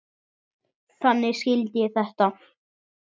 Þannig skildi ég þetta.